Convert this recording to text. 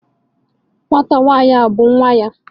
Nwata nwanyi a bu nwa ya?